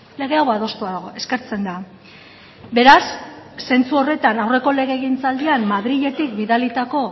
lege hau adostua dago eskertzen da beraz zentzu horretan aurreko legegintzaldian madriletik bidalitako